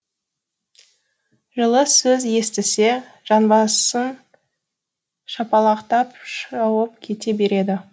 жылы сөз естісе жанбасын шапалақтап шауып кете береді